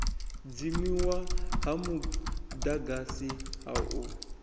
dzimiwa ha mudagasi ha u